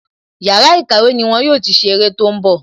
Yàrá ìkàwé ni wọn yóò ti ṣe ère tó ń bọ̀